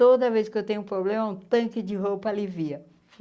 Toda vez que eu tenho um problema, um tanque de roupa alivia.